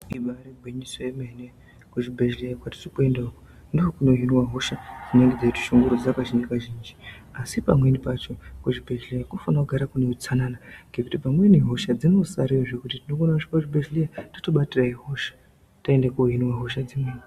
Ibari gwinyiso yemene kuzvibhedhleya kwatiri kuenda ndokunohinwa hosha dzinenge dzeyitishungurudza kazhinji kazhinji asi kuzvibhedhleya kunofanika kugara kwakachena ngekuti pamweni hosha dzinosarayo wotobatira imweni hosha waenda korapwa imweni hosha .